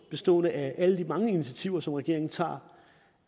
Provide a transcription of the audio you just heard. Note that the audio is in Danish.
består af alle de mange initiativer som regeringen tager